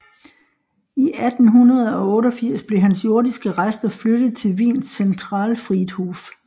I 1888 blev hans jordiske rester flyttet til Wiens Zentralfriedhof